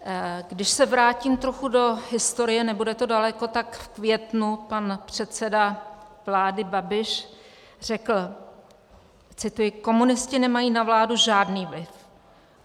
Když se vrátím trochu do historie, nebude to daleko, tak v květnu pan předseda vlády Babiš řekl, cituji: "Komunisti nemají na vládu žádný vliv.